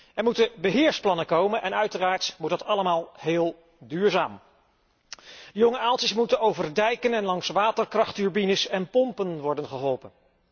Er moeten beheersplannen komen en uiteraard moet dat allemaal heel duurzaam. De jonge aaltjes moeten over dijken en langs waterkrachtturbines en pompen worden geholpen.